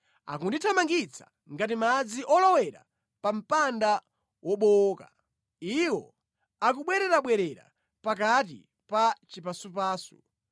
Akundithamangitsa ngati madzi olowera pa mpanda wobowoka, iwo akubwererabwerera pakati pa chipasupasu.